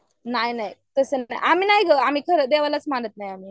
नाही नाही तसं नाही आम्ही नाही गं आम्ही देवालाच मानत नाही.